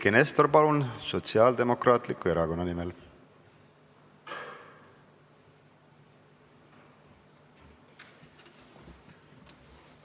Eiki Nestor Sotsiaaldemokraatliku Erakonna nimel, palun!